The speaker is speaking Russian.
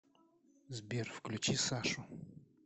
сбер включи сашу